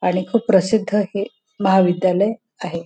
आणि खूप प्रसिद्ध हे महाविद्यालय आहे.